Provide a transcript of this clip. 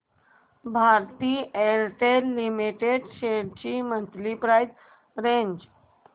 Bharti Airtel limited shares ची monthly price range